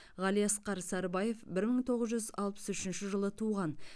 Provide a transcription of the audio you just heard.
ғалиасқар сарыбаев бір мың тоғыз жүз алпыс үшінші жылы туған